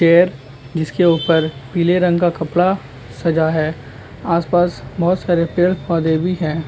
तैर जिसके ऊपर पीले रंग का कपड़ा सजा है आसपास बहुत सारे पेड़ पौधे भी है।